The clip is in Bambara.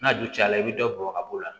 N'a du cayala i bi dɔ bɔn ka b'o la